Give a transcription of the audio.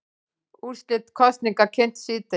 Úrslit kosninga kynnt síðdegis